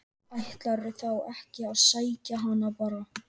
Ætlarðu þá ekki að sækja hana bara á